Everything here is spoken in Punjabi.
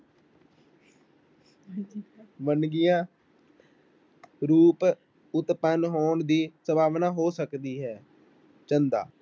ਵੰਨਗੀਆਂ ਰੁਪ ਉਤਪੰਨ ਹੋਣ ਦੀ ਸੰਭਾਵਨਾ ਹੋ ਸਕਦੀ ਹੈ, ਚੰਦਾ।